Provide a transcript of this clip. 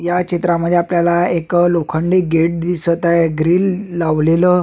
या चित्रा मध्ये आपल्याला एक लोखंडी गेट दिसत आहे ग्रिल लावलेल.